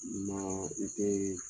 Maa i tɛɛ